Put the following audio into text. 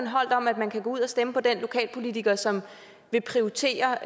holdt om at man kan gå ud og stemme på den lokalpolitiker som vil prioritere